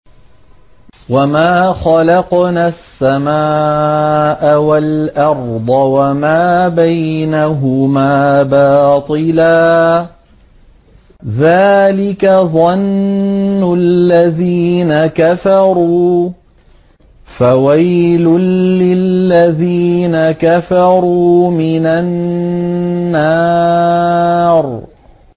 وَمَا خَلَقْنَا السَّمَاءَ وَالْأَرْضَ وَمَا بَيْنَهُمَا بَاطِلًا ۚ ذَٰلِكَ ظَنُّ الَّذِينَ كَفَرُوا ۚ فَوَيْلٌ لِّلَّذِينَ كَفَرُوا مِنَ النَّارِ